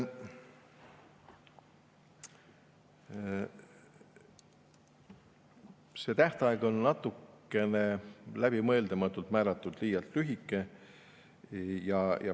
See tähtaeg on natukene läbimõtlematult määratud liialt lühike.